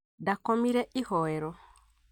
Ndakomire ihoero